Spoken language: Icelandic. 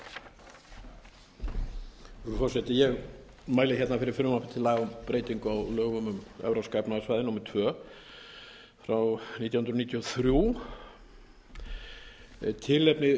forseti ég mæli hérna fyrir frumvarpi til laga um breytingu á lögum um evrópska efnahagssvæðið númer tvö nítján hundruð níutíu og þrjú tilefni